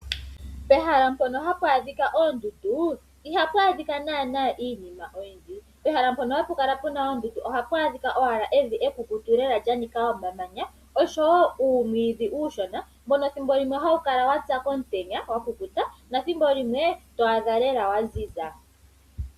Pehala mpono hapu adhika oondundu, ihapu adhika naana iinima oyindji. Pehala mpono hapu kala oondundu ohapu adhika owala evi ekekutu lela lyanika omamanya, oshowo uumwiidhi uushona, mbono thimbo limwe hawu kala wapya komutenya wakukuta, nothimbo limwe ohawu kala lela waziza.